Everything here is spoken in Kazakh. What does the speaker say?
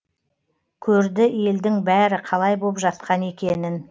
көрді елдің бәрі қалай боп жатқан екенін